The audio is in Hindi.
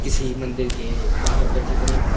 किसी मंदिर के बाहर का चित्र है।